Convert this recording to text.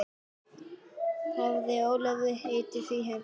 Hafði Ólafur heitið henni því.